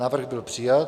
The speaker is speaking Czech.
Návrh byl přijat.